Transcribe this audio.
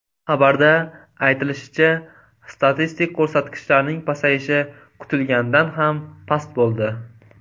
Xabarda aytilishicha, statistik ko‘rsatkichlarning pasayishi kutilganidan ham past bo‘ldi.